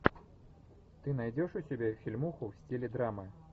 ты найдешь у себя фильмуху в стиле драмы